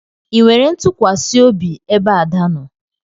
Ị nwere ntukwasiobi ebe Ada nọ?